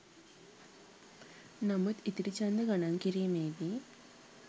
නමුත් ඉතිරි ඡන්ද ගණන් කිරීමේ දී